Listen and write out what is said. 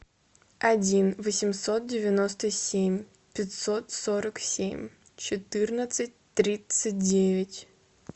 один восемьсот девяносто семь пятьсот сорок семь четырнадцать тридцать девять